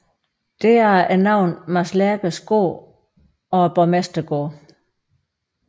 Deraf navnet Mads Lerches Gård og Borgmestergården